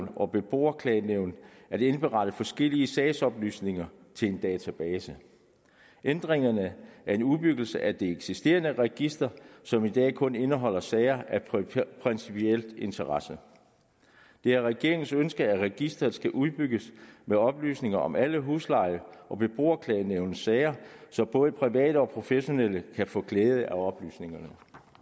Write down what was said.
og beboerklagenævn at indberette forskellige sagsoplysninger til en database ændringerne er en udbyggelse af det eksisterende register som i dag kun indeholder sager af principiel interesse det er regeringens ønske at registeret skal udbygges med oplysninger om alle husleje og beboerklagenævns sager så både private og professionelle kan få glæde af oplysningerne